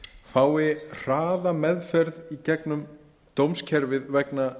fái hraða meðferð í gegnum dómskerfið vegna